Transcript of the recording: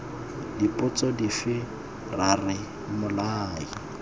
dipotso dife ra re mmolai